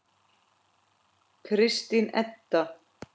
Kristín Edda.